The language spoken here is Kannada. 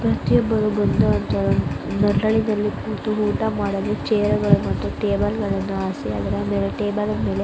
ಪ್ರತಿಯೊಬ್ಬರೂ ಬಂದು ಊಟವನ್ನು ಮಾಡಲು ಚೇರ್ಗಳನ್ನು ಮತ್ತು ಟೇಬಲ್ ಗಳನ್ನೂ ಹಸಿ ಅಂದರೆ ಟೇಬಲ್ ಮೇಲೆ--